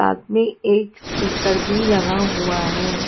साथ में एक स्पीकर भी लगा हुआ है।